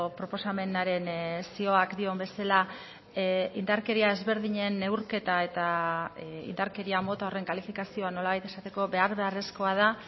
proposamenaren zioak dion bezala indarkeria ezberdinen neurketa eta indarkeria mota horren kalifikazioa nolabait esateko behar beharrezkoa da